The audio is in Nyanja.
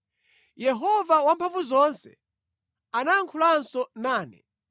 Yehova Wamphamvuzonse anayankhulanso nane.